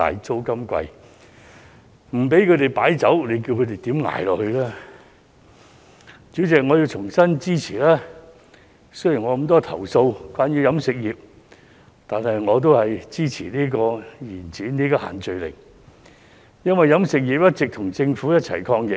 主席，我要重申，雖然我對於飲食業受到的限制有這麼多投訴，但我亦支持延展限聚令，因為飲食業一直跟政府共同抗疫。